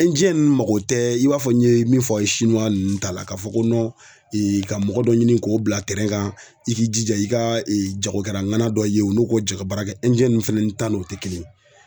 ninnu mago tɛ i b'a fɔ n ye min f'ɔ a' ye ninnu ta la ka fɔ ko ka mɔgɔ dɔ ɲini k'o bila tɛrɛn kan i k'i jija i ka jagokɛla ŋana dɔ ye u n'o ko jɛ ka baara kɛ. ninnu fɛnɛn ta n'o te kelen ye.